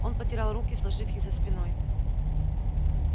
он потирал руки сложив их за спиной